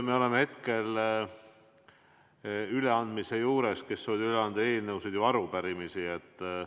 Me oleme hetkel üleandmise juures, kes soovib veel üle anda eelnõusid või arupärimisi?